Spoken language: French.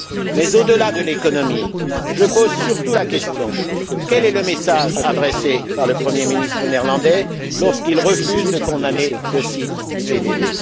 Mais au delà de l'économie, je pose surtout la question suivante quel est le message adressé par le premier ministre néerlandais, lorsqu'il refuse de condamner le site du PVV?